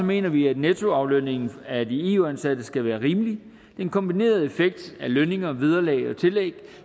mener vi at nettoaflønningen af de eu ansatte skal være rimelig en kombineret effekt af lønninger vederlag og tillæg